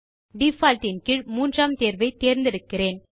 default இன் கீழ் மூன்றாம் தேர்வை தேர்ந்தெடுக்கிறேன்